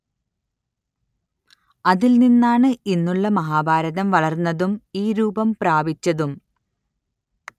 അതിൽ നിന്നാണ്‌ ഇന്നുള്ള മഹാഭാരതം വളർന്നതും ഈ രൂപം പ്രാപിച്ചതും